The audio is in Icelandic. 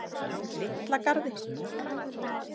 Litla Garði